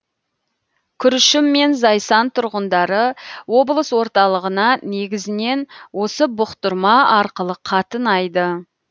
күршім мен зайсан тұрғындары облыс орталығына негізінен осы бұқтырма арқылы қатынайды